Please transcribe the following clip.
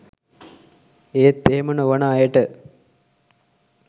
ඒත් එහෙම නොවන අයට